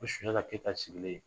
OSunjata Keylta sigilen